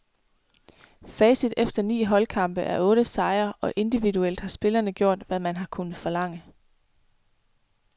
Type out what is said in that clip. Facit efter ni holdkampe er otte sejre, og individuelt har spillerne gjort, hvad man har kunnet forlange.